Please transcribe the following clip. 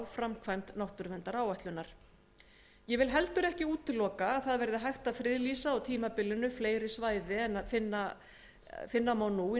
framkvæmd náttúruverndaráætlunar ég vil heldur ekki útiloka að það verði hægt að friðlýsa á tímabilinu fleiri svæði en er að finna nú í